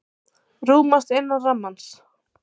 Rúmast innan rammans